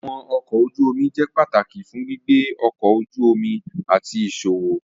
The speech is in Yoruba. Awọn ọkọ oju omi jẹ pataki fun gbigbe ọkọ oju omi ati iṣowo.